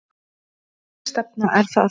Hvernig stefna er það?